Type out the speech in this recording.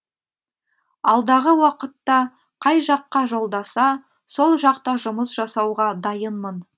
алдағы уақытта қай жаққа жолдаса сол жақта жұмыс жасауға дайынмын